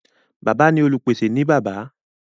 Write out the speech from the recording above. Bàbá ní Olupese ní bàbá.